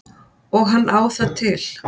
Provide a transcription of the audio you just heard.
Og hann á það til.